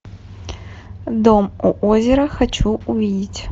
дом у озера хочу увидеть